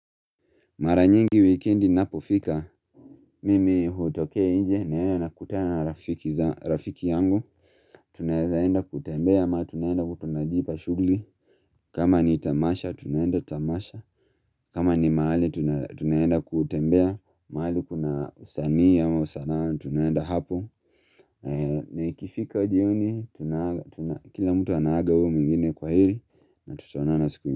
Mara nyingi weekendi inapo fika Mimi hutoka inje naenda na kutana na rafiki yangu Tunaenda kutembea ama tunaenda tunajipa shughuli kama ni tamasha tunaenda tamasha kama ni maali tunaenda kutembea maali kuna usanii au sanaa tunaenda hapo Naikifika jioni kila mtu anaaga uo mingine kwa hili na tutaonana siku.